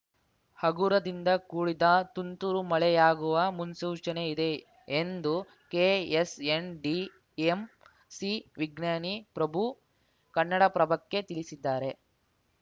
ಹಗುರದಿಂದ ಕೂಡಿದ ತುಂತುರು ಮಳೆಯಾಗುವ ಮುನ್ಸೂಚನೆ ಇದೆ ಎಂದು ಕೆಎಸ್‌ಎನ್‌ಡಿಎಂಸಿ ವಿಜ್ಞಾನಿ ಪ್ರಭು ಕನ್ನಡಪ್ರಭಕ್ಕೆ ತಿಳಿಸಿದ್ದಾರೆ